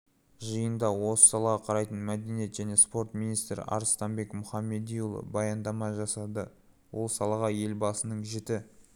жиында осы салаға қарайтын мәдениет және спорт министрі арыстанбек мұхамедиұлы баяндама жасады ол салаға елбасының жіті